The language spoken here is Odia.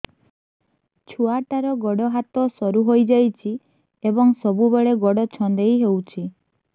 ଛୁଆଟାର ଗୋଡ଼ ହାତ ସରୁ ହୋଇଯାଇଛି ଏବଂ ସବୁବେଳେ ଗୋଡ଼ ଛଂଦେଇ ହେଉଛି